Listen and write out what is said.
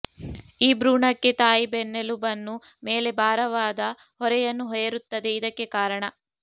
ಈ ಭ್ರೂಣಕ್ಕೆ ತಾಯಿ ಬೆನ್ನೆಲುಬನ್ನು ಮೇಲೆ ಭಾರವಾದ ಹೊರೆಯನ್ನು ಹೇರುತ್ತದೆ ಇದಕ್ಕೆ ಕಾರಣ